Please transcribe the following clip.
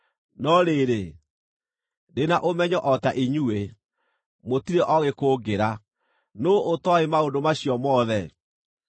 No rĩrĩ, ndĩ na ũmenyo o ta inyuĩ; mũtirĩ oogĩ kũngĩra. Nũũ ũtooĩ maũndũ macio mothe?